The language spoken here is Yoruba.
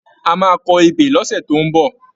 A máa kọ ebè lọ́sẹ̀ tó ń bọ̀.